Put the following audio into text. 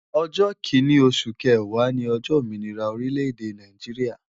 Ojo kinni osu kewaa ni ojo ominira orile-ede Naijiria